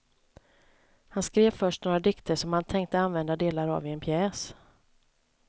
Han skrev först några dikter som han tänkte använda delar av i en pjäs.